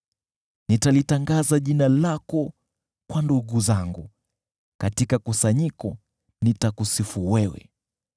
Nitalitangaza jina lako kwa ndugu zangu, katika kusanyiko nitakusifu wewe.